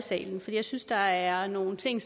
i salen for jeg synes der er nogle ting